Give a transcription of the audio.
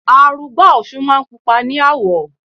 Arugbá òsun náà pupa ní àwọ̀.